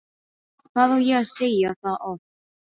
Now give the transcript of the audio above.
Hvað á ég að segja það oft?!